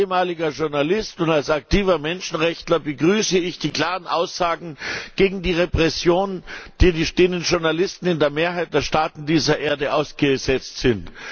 Als ehemaliger Journalist und als aktiver Menschenrechtler begrüße ich die klaren Aussagen gegen die Repressionen, denen Journalisten in der Mehrheit der Staaten dieser Erde ausgesetzt sind.